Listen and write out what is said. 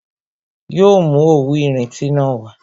Yo mú òwú irinti na wá